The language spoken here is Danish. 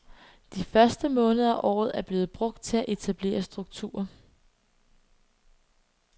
De første måneder af året er blevet brugt til at etablere strukturer.